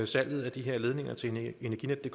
salget af de her ledninger til energinetdk